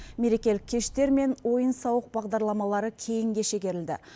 мерекелік кештер мен ойын сауық бағдарламалары кейінге шегерілді